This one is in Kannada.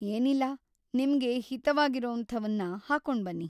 ಏನಿಲ್ಲ, ನಿಮ್ಗೆ ಹಿತವಾಗಿರೊವಂಥವನ್ನ ಹಾಕೊಂಡ್‌ ಬನ್ನಿ!